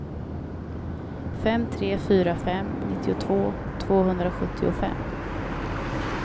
fem tre fyra fem nittiotvå tvåhundrasjuttiofem